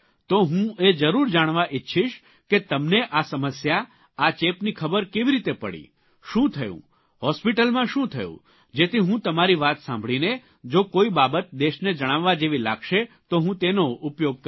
તો હું એ જરૂર જાણવા ઇચ્છીશ કે તમને આ સમસ્યા આ ચેપની ખબર કેવી રીતે પડી શું થયું હોસ્પીટલમાં શું થયું જેથી હું તમારી વાત સાંભળીને જો કોઇ બાબત દેશને જણાવવા જેવી લાગશે તો હું તેનો ઉપયોગ કરીશ